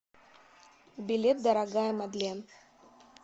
билет дорогая мадлен